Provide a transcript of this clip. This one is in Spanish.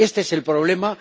este es el problema